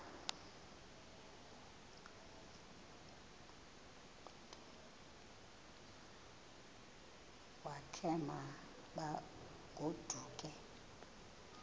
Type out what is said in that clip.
wakhe ma baoduke